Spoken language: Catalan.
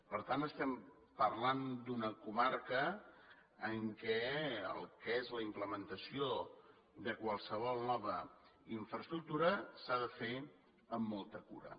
per tant estem parlant d’una comarca en què el que és la implementació de qualsevol nova infraestructura s’ha de fer amb molta cura